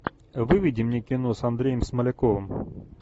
выведи мне кино с андреем смоляковым